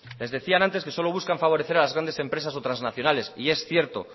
les decían antes que solo buscan favorecer a las grandes empresas o trasnacionales y es cierto